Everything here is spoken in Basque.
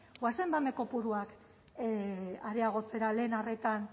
goazen hemen kopuruak areagotzera lehen arretan